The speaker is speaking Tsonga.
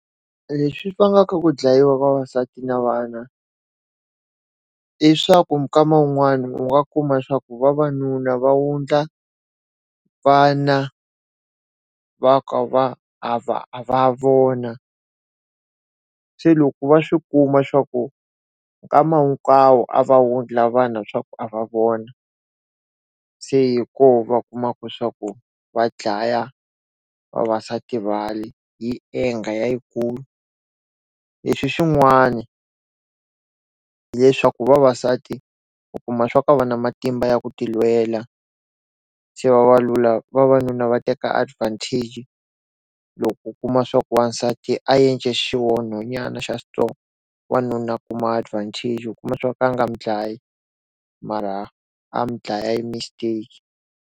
Leswi vangaka ku dlayiwa vavasati na vana, i swa ku minkama yin'wana u nga kuma swa ku vavanuna va wundla vana va ka va a va va vona. Se loko va swi kuma swa ku nkama hinkwavo a va wundla vana swa ku a va vona, se hi koho va kumaka swa ku va dlaya vavasati hi anger ya yi kulu. Leswi swin'wana hileswaku vavasati u kuma swa ku a va na matimba ya ku ti lwela, se vavalula vavanuna va teka advantage loko kuma swa ku wansati a endle xihoxonyana xa xintsongo, wanuna a kuma advantage u ku kuma swa ku a nga n'wi dlaya mara a n'wi dlaya hi mistake.